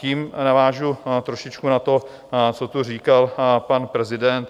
Tím navážu trošičku na to, co tu říkal pan prezident.